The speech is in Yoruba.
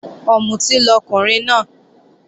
Ọ̀mùtí lọkùnrin náà